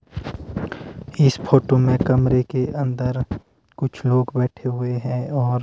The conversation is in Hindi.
इस फोटो में कमरे के अंदर कुछ लोग बैठे हुए हैं और--